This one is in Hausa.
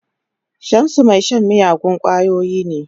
Shamsu mai shan miyagun kwayoyi ne.